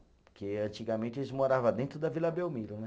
Porque antigamente eles morava dentro da Vila Belmiro, né?